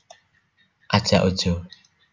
Aja ojo